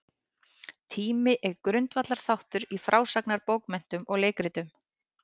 Tími er grundvallarþáttur í frásagnarbókmenntum og leikritum.